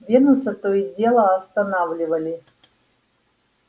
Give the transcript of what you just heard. венуса то и дело останавливали